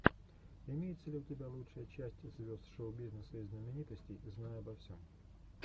имеется ли у тебя лучшая часть звезд шоу бизнеса и знаменитостей знай обо всем